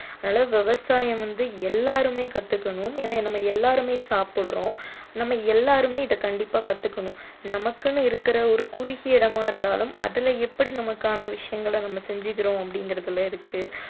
அதனால விவசாயம் வந்து எல்லாருமே கத்துக்கணும் ஏன்னா நம்ம எல்லாருமே சாப்பிடுறோம் நம்ம எல்லாருமே இதை கண்டிப்பா கத்துக்கணும் நமக்குன்னு இருக்கிற ஒரு குறுகிய இடமா இருந்தாலும் அதுல எப்படி நமக்கான விஷயங்களை நம்ம செஞ்சிக்கிறோம் அப்படிங்கிறதுல இருக்கு